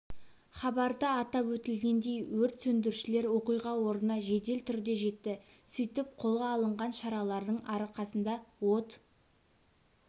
хабарда атап өтілгендей өрт сөндірушілер оқиға орнына жедел түрде жетті сөйтіп қолға алынған шаралардың арқасында от